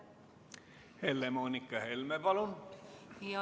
Helle-Moonika Helme, palun!